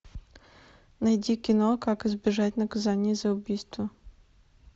найди кино как избежать наказания за убийство